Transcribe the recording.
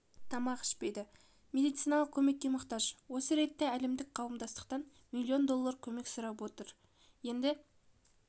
тамақ ішпейді медициналық көмекке мұқтаж осы ретте әлемдік қауымдастықтан миллион доллар көмек сұрап отыр енді